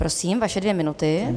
Prosím, vaše dvě minuty.